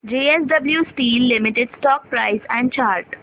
JSW steel limited stock price and chart